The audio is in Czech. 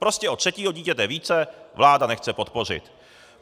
Prostě od třetího dítěte více vláda nechce podpořit.